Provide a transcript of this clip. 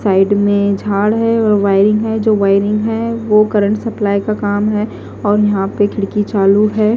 Side में झाड़ है और वायरिंग है जो वायरिंग है वो करंट सप्लाई का काम है और यहां पे खिड़की चालू है।